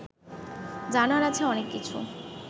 জানার আছে অনেক কিছু